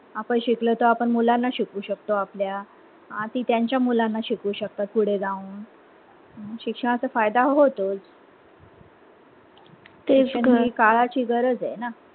आपण शिकलो तर मुलांना शिकवू शकतो आपल्या अं ती त्यांचा मुलांना शिकवू शकतात पुढे जाऊन शिक्षणाचा फायदा होतोच काळाची गरज आहे ना